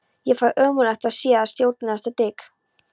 Ég fæ ómögulega séð að stjórastaða Dik